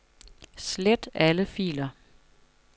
Slet alle filer.